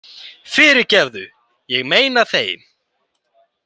Fyrirgefðu, ég meina þeim.